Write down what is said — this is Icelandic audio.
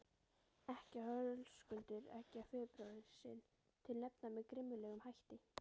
Ekkja Höskuldar eggjar föðurbróður sinn til hefnda með grimmilegum hætti.